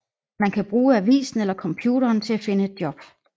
Man kan bruge avisen eller computeren til at finde et job